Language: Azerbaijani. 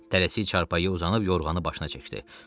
Tələsik çarpayıya uzanıb yorğanını başına çəkdi.